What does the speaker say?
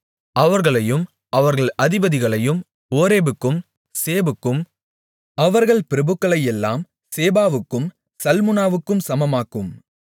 அவர்களையும் அவர்கள் அதிபதிகளையும் ஓரேபுக்கும் சேபுக்கும் அவர்கள் பிரபுக்களையெல்லாம் சேபாவுக்கும் சல்முனாவுக்கும் சமமாக்கும்